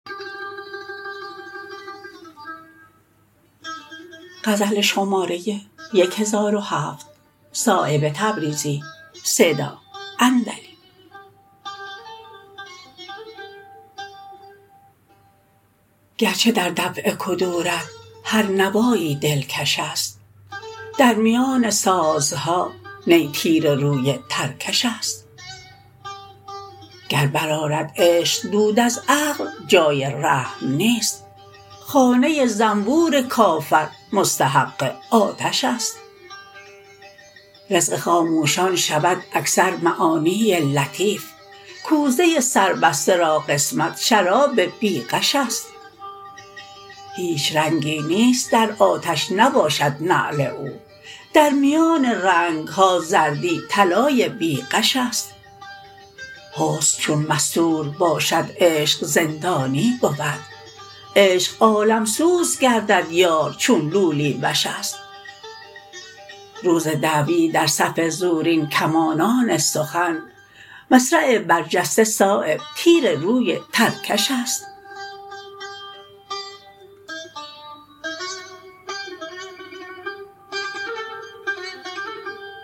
گرچه در دفع کدورت هر نوایی دلکش است در میان سازها نی تیر روی ترکش است گر برآرد عشق دود از عقل جای رحم نیست خانه زنبور کافر مستحق آتش است رزق خاموشان شود اکثر معانی لطیف کوزه سربسته را قسمت شراب بی غش است هیچ رنگی نیست در آتش نباشد نعل او در میان رنگ ها زردی طلای بی غش است حسن چون مستور باشد عشق زندانی بود عشق عالمسوز گردد یار چون لولی وش است روز دعوی در صف زورین کمانان سخن مصرع برجسته صایب تیر روی ترکش است